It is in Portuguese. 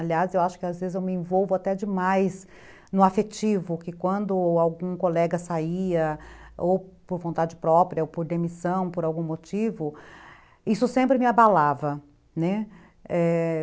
Aliás, eu acho que às vezes eu me envolvo até demais no afetivo, que quando algum colega saía, ou por vontade própria, ou por demissão, por algum motivo, isso sempre me abalava, né?